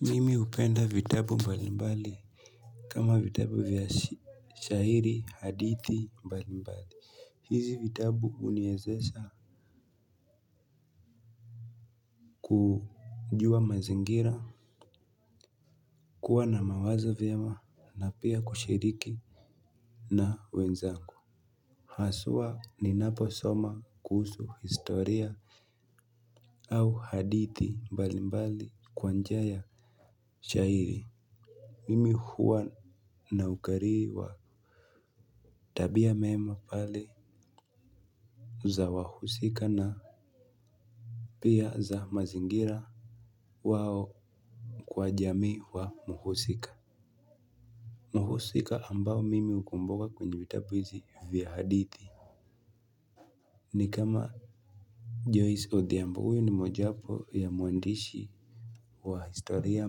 Mimi hupenda vitabu mbali mbali. Kama vitabu vya shairi hadithi mbali mbali hizi vitabu huniwezesha kujua mazingira. Kuwa na mawazo vyema na pia kushiriki na wenzangu. Haswa ni napo soma kuhusu historia. Au hadithi mbali mbali kwanjiaya shairi. Mimi huwa na ukariri wa tabia meema pale za wahusika na pia za mazingira wao kwa jamii wa muhusika. Muhusika ambao mimi hukumbuka kwenye vitabuhizi vya hadithi. Ni kama Joyce Odhiambo huyu ni mojawapo ya mwandishi wa historia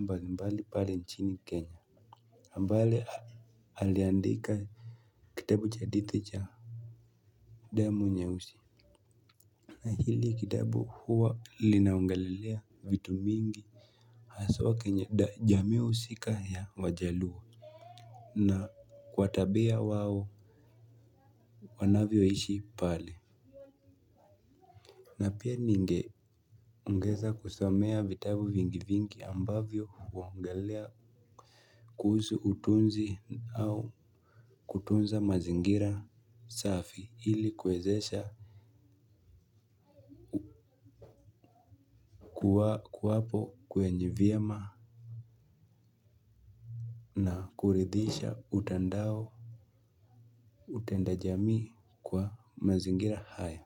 mbali mbali pale nchini kenya Ambale aliandika kitabu cha hadithi cha damu nye usi. Hili kitabu huwa linaongelelea vitu mingi. Haswa kwenye jamii husika ya wajaluo. Na kwa tabia wao wanavyo ishi pale. Na pia ninge ongeza kusomea vitabu vingi vingi ambavyo huongelelea. Kuhusu utunzi au kutunza mazingira safi ili kuwezesha kuwa kuwapo kwenye vyema. Na kuridhisha utandao utendajamii kwa mazingira haya.